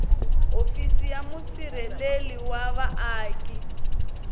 hofisi ya musirheleli wa vaaki